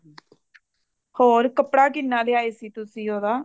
ਹੋਰ ਕੱਪੜਾ ਕਿੰਨਾ ਲੈ ਆਏ ਸੀ ਤੁਸੀਂ ਉਹਦਾ